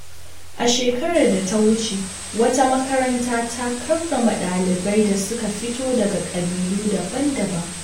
A shekarar da ta wuce, wata makaranta ta karrama dalibai da suka fito daga ƙabilu daban-daban.